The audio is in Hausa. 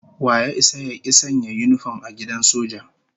Wa ya isa ya ki sanya yinifom a gidan soja?